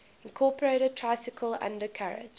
incorporated tricycle undercarriage